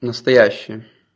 настоящие